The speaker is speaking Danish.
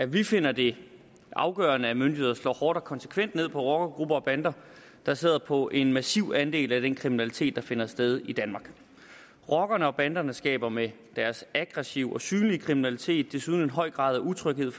vi finder det afgørende at myndighederne slår hårdt og konsekvent ned på rockergrupper og bander der sidder på en massiv andel af den kriminalitet der finder sted i danmark rockerne og banderne skaber med deres aggressive og synlige kriminalitet desuden en høj grad af utryghed